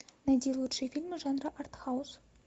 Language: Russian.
найди лучшие фильмы жанра артхаус